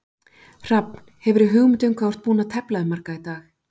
Hrafn, hefurðu hugmynd um hvað þú ert búinn að tefla við marga í dag?